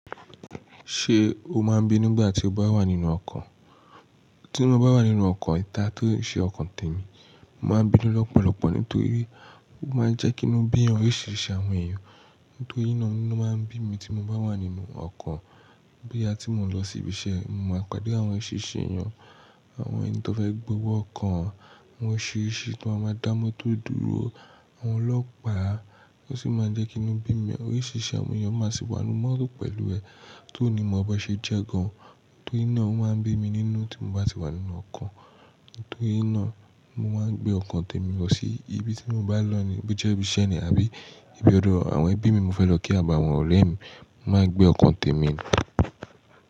Ṣé o máa ń bínu ngbà tí o bá wà nínú ọkọ̀? Tí mo bá wà nínú ọkọ̀ ìta tió ṣe ọkọ̀ tèmi, mo máa ń bínu lọ́pọ̀lọpọ̀ nítorí ó máa ń jẹ́ kínu bí oríṣiríṣi àwọn èèyàn. Nítorí náa inu máa ń bí mi tí mo bá wà nínú ọkọ̀. Bóyà tí mò ń lọ sí ibi iṣẹ́, mo máa pàdé àwọn oriṣiriṣi èèyàn, àwọn ènìyàn tí wọ́n fẹ́ gbówó ọkọ̀ wọn, wọ́n ṣe é ṣe kí wọ́n máa dá mọ́tò dúró, àwọn ọlọ́pàá. Ó sì máa ń jẹ́ kínu bí mi, oríṣiríṣi àwọn èèyàn máa sì wà n'nu mọ́to pẹ̀lú rẹ, tó ní mo bon ṣe jẹ́ gan. Nítoríná o máa ń bí mi nínú tí mo bá ti wà nínú ọkọ̀. Nitorina, mo maa n gbe oko temi lo si ibiti mo ba n lo ni bo je ibi ise ni abi ibi odo awon ebi mi ni mo fe lo ki ni abi awon ore mi, mo maa n gbe oko temi ni.